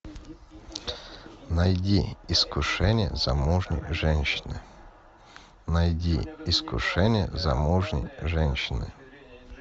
найди искушение замужней женщины найди искушение замужней женщины